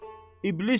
İblis o!